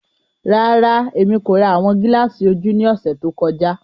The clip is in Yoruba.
Rara, Emi ko ra awọn gilaasi oju ni ọsẹ to kọja.